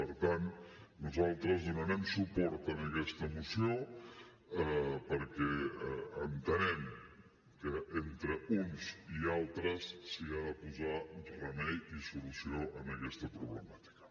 per tant nosaltres donarem suport a aquesta moció perquè entenem que entre uns i altres s’hi ha de posar remei i solució en aquesta problemàtica